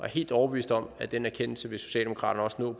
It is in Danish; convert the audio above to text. helt overbevist om at den erkendelse vil socialdemokratiet også nå